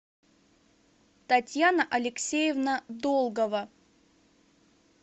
татьяна алексеевна долгова